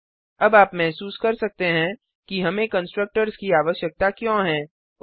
अब आप महसूस कर सकते हैं कि हमें कंस्ट्रक्टर्स की आवश्यकता क्यों है